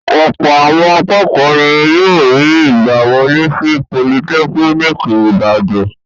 Ọ̀pọ̀ àwọn akẹ́kọ̀ọ́ ni yóò rí ìgbàwọlé sí Politẹ́kíníkì Ìbàdàn.